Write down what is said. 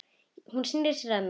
Hún sneri sér að mér.